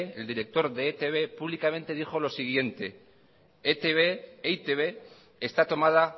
e i te be públicamente dijo lo siguiente e i te be está tomada